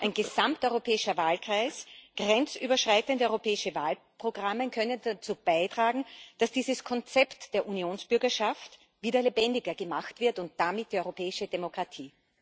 Ein gesamteuropäischer Wahlkreis, grenzüberschreitende europäische Wahlprogramme können dazu beitragen, dass dieses Konzept der Unionsbürgerschaft wieder lebendiger gemacht wird und damit die europäische Demokratie.